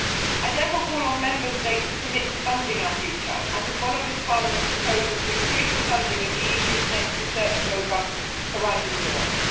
I therefore call on Member States to commit to funding our future and to follow this Parliament's proposal to increase the funding of the EU's next research programme, Horizon Europe.